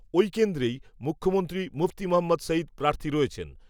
ওই কেন্দ্রেই, মুখ্যমন্ত্রী, মুফতি মহম্মদ সঈদ, প্রার্থী রয়েছেন